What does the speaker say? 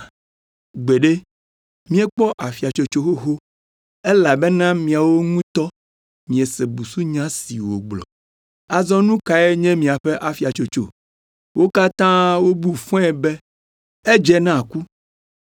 Gbeɖe, míekpɔ afiatsotso xoxo elabena miawo ŋutɔ miese busunya si wògblɔ.” Azɔ nu kae nye miaƒe afiatsotso? Wo katã wobu fɔe be, “Edze na ku.”